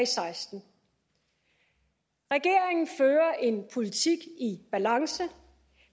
seksten regeringen fører en politik i balance